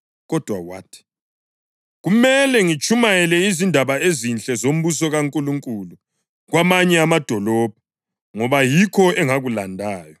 Kodwa wathi, “Kumele ngitshumayele izindaba ezinhle zombuso kaNkulunkulu kwamanye amadolobho, ngoba yikho engakulandayo.”